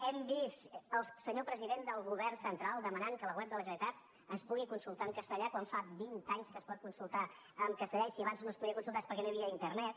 hem vist el senyor president del govern central demanant que la web de la generalitat es pugui consultar en castellà quan fa vint anys que es pot consultar en castellà i si abans no s’hi podia consultar és perquè no hi havia internet